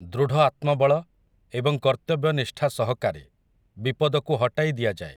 ଦୃଢ଼ ଆତ୍ମବଳ, ଏବଂ କର୍ତ୍ତବ୍ୟନିଷ୍ଠା ସହକାରେ, ବିପଦକୁ ହଟାଇ ଦିଆଯାଏ ।